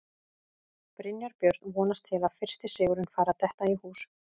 Brynjar Björn vonast til að fyrsti sigurinn fari að detta í hús.